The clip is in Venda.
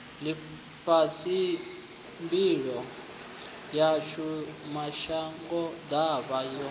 ḽifhasi mbilo yashu mashangoḓavha yo